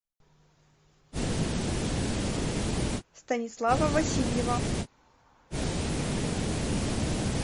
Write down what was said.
станислава васильева